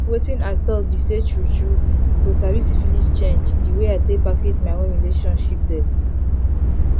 wetin i talk be say true true to sabi syphilis change the way i take package my own relationship dem